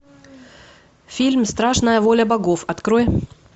фильм страшная воля богов открой